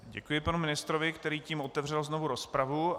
Děkuji panu ministrovi, který tím otevřel znovu rozpravu.